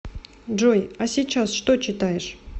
джой а сейчас что читаешь